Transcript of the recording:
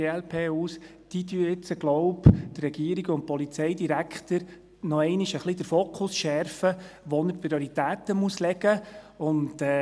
Diese schärfen jetzt, glaube ich, noch einmal ein wenig den Fokus der Regierung und des Polizeidirektors und zeigen, wo man die Prioritäten setzen muss.